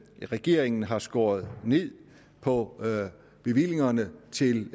regeringen har skåret ned på bevillingerne til